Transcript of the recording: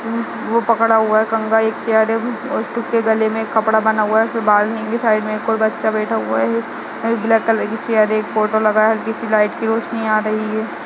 उ वो पकड़ा हुआ है कंगा एक चेयर है उसके गले में एक कपडा बंधा हुआ है उसके बाद में इसकी साइड में एक ओर बच्चा बैठा हुआ है ब्लैक कलर की चेयर है एक फोटो लगा है पीछे लाइट की रोशनी आ रही है।